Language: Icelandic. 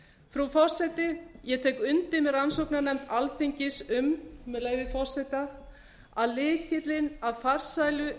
frú forseti ég tek undir með rannsóknarnefnd alþingis um með leyfi forseta að lykillinn að farsælu